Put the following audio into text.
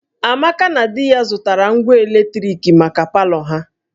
Amaka na di ya zụtara ngwa eletrik maka palọ ha